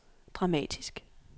dramatisk